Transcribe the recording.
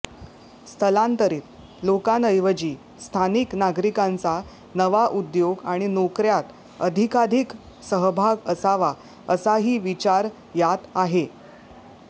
स्थलांतरित लोकांऐवजी स्थानिक नागरिकांचा नवा उद्योग आणि नोकऱ्यांत अधिकाधिक सहभाग असावा असाही विचार यात आहे